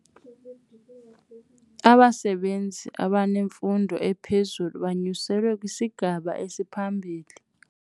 Abasebenzi abanemfundo ephezulu banyuselwe kwisigaba esiphambili.